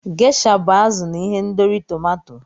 Gesha bụ azụ n'ihendori tomato.